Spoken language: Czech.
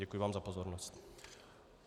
Děkuji vám za pozornost.